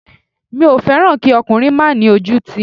Mi ò fẹ́ràn kí ọkùnrin má ni ojútì